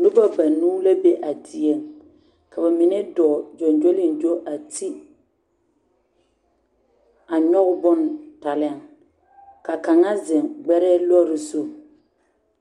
Noba banuu la be a dieŋ ka ba mine dɔɔ gyɔŋgyoliŋgyo a ti a nyɔge bon taa lɛ ka kaŋ ziŋ gbɛrɛɛ lɔre zu